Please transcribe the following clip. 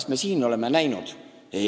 Kas meie siin oleme seda näinud?